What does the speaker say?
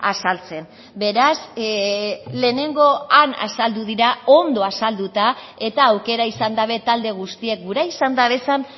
azaltzen beraz lehenengo han azaldu dira ondo azalduta eta aukera izan dabe talde guztiek gura izan dabezan